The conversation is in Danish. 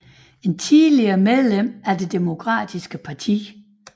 Tidligere medlem af Det Demokratiske Parti